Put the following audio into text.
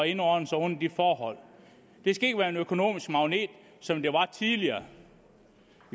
indordne sig under de forhold det skal ikke være en økonomisk magnet som det var tidligere